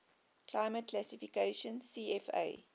climate classification cfa